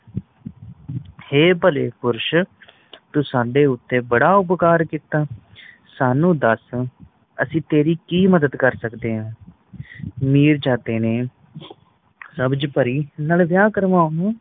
ਹੈ ਭਲੇ ਪੁਰਸ਼ ਤੂੰ ਸਾਡੇ ਤੇ ਬੜਾ ਉਪਕਾਰ ਕੀਤਾ ਸਾਨੂੰ ਦੱਸ ਅਸੀਂ ਤੇਰੀ ਕਿ ਮੱਦਦ ਕਰ ਸਕਦੇ ਆ ਮੀਰਜਦਾ ਨੇ ਸਬਜ਼ ਪਰੀ ਨਾਲ ਵਿਆਹ ਕਰਵਾਉਣ ਨੂੰ